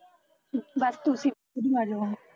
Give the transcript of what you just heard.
ਬਸ ਤੁਸੀਂ ਵੀ ਉੱਧਰ ਈ ਆਜੋ ਹੁਣ